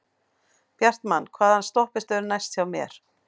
Bjartmann, hvaða stoppistöð er næst mér?